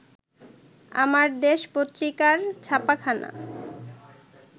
আমার দেশ পত্রিকার ছাপাখানা